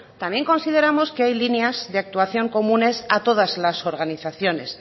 también consideramos que hay líneas de actuación comunes a todas las organizaciones